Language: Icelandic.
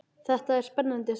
Þetta er spennandi saga.